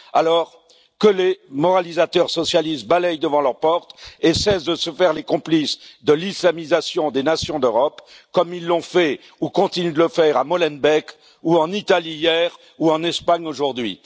Alors, que les moralisateurs socialistes balayent devant leur porte et cessent de se faire les complices de l'islamisation des nations d'Europe, comme ils l'ont fait ou continuent de le faire à Molenbeek, ou en Italie hier, ou en Espagne aujourd'hui.